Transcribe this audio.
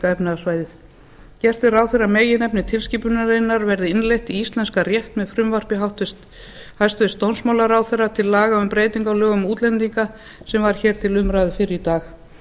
efnahagssvæðið gert er ráð fyrir að meginefni tilskipunarinnar verði innleidd í íslenskan rétt með frumvarpi hæstvirts dómsmálaráðherra til laga um breytingu á lögum um útlendinga sem var hér til umræðu fyrr í dag